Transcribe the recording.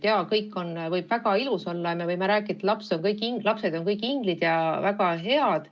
Jaa, kõik võib olla väga ilus ja me võime rääkida, et kõik lapsed on inglid ja väga head.